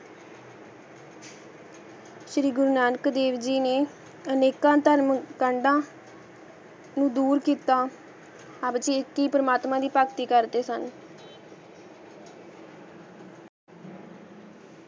ਸ਼੍ਰੀ ਗੁਰੂ ਨਾਨਕ ਦੇਵ ਜੀ ਨੇ ਅਨਿਕ ਟਰਮ ਕੰਡਾ ਨੂ ਦੂਰ ਕਿੱਤਾ ਅਬ੍ਜੀਤ ਕੀ ਪਰਮਾਤਮਾ ਦੀ ਫਾਕਤੀ ਕਰ ਦੇ ਸਨ